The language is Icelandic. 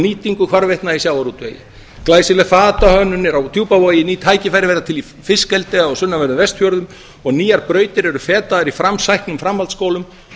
nýtingu hvarvetna í sjávarútvegi glæsileg fatahönnun er á djúpavogi ný tækifæri verða til í fiskeldi á sunnanverðum vestfjörðum og nýjar brautir eru fetaðar í framsæknum framhaldsskólum